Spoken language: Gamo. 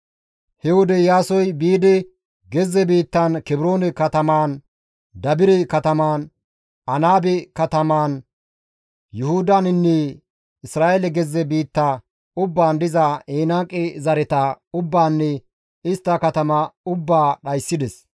He wode Iyaasoy biidi, gezze biittan Kebroone katamaan, Dabire katamaan, Anaabe katamaan, Yuhudaninne Isra7eele gezze biitta ubbaan diza Enaaqe zareta ubbaanne istta katama ubbaa dhayssides.